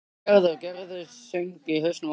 Gerður, Gerður söng í hausnum á honum.